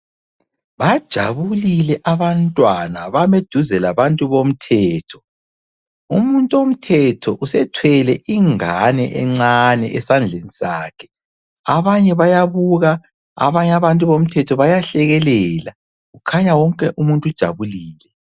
Bajabulile abantwana bame duze labantu bomthetho. Umuntu omthetho usethwele ingane encane esandleni sakhe, abanye bayabuka abanye abantu bomthetho bayahlekelela kukhanya wonke umuntu ujabulile.